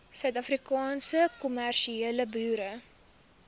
afrikaanse kommersiële boere